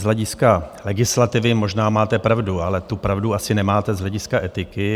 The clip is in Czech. Z hlediska legislativy možná máte pravdu, ale tu pravdu asi nemáte z hlediska etiky.